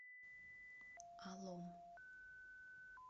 алом